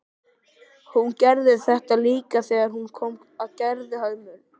Hún gerði þetta líka þegar hún kom að Gerðhömrum.